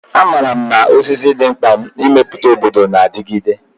Amaara m na osisi dị mkpa maka ịmepụta obodo na-adigide.